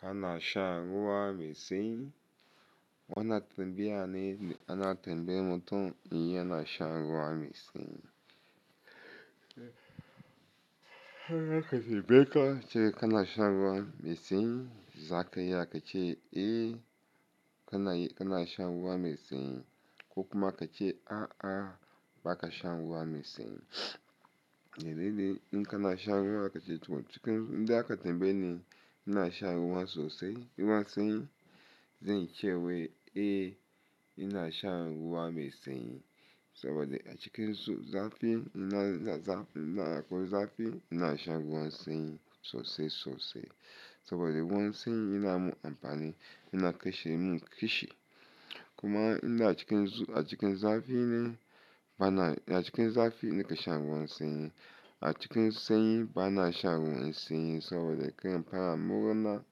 Kana shan ruwa mai sanyi? Wannan tambayar ne da ana tambayar mutum in yana shan ruwa mai sanyi. Haka ka ci bika cewa kana shan ruwa mai sanyi. Zakayi aka ce "Eh, kana, kana shan ruwa mai sanyi." Ko kuma ka ce "A'a, ba ka shan ruwa mai sanyi." Yanzu ne in kana shan ruwa aka ce cikin, inda aka tambayi ne "ina shan ruwan sosai, ruwan sanyi?" Zai yi cewa "Eh, ina shan ruwa mai sanyi." Saboda a cikin zafi ina, ina, akwai zafi ina shan ruwan sanyi sosai, sosai. Saboda ruwan sanyi yana mun amfani, yana kashe mun kishi. Kuma inda a cikin zu-- a cikin zafi ne bana, a cikin zafi ina shan ruwan sanyi. A cikin sanyi bana shan ruwan sanyi saboda kai amfani a mura,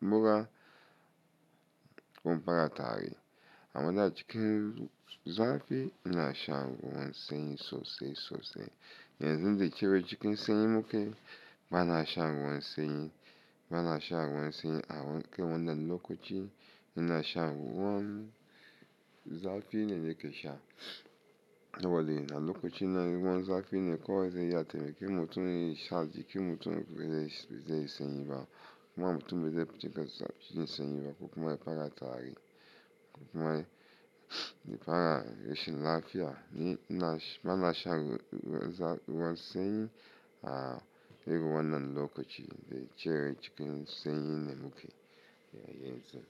mura kuma fara tari. Amma a cikin zafi ina shan ruwan sanyi sosai, sosai. Yanzu dai cewa cikin sanyi muke bana shan ruwan sanyi. Bana shan ruwan sanyi a wanke wannan lokaci ina shan ruwan zafi ne nake sha. Saboda yana lokaci na ruwan zafi ne kawai zai yace mai kimar tun sha ji kimar tun zai, zai sanyi ba. Kuma mutum zai fita zafi cikin sanyi ba ko kuma ya fara tari. Ko kuma ya, ya fara rashin lafiya. Ni ina, bana shan ruwan sanyi a irin wannan lokaci dai cewa cikin sanyi ne muke. Yea, yanzu.